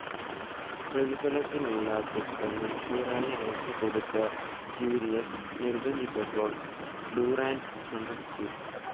പ്രതിഫലത്തിനുള്ള cheque മുൻകൂറായി അയച്ചുകൊടുത്ത് Julius നിർബ്ബന്ധിച്ചപ്പോൾ ഡുറാന്റ് സമ്മതിച്ചു.